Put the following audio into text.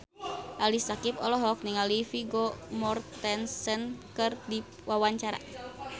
Ali Syakieb olohok ningali Vigo Mortensen keur diwawancara